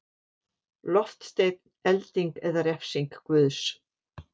Loftsteinn, elding eða refsing Guðs.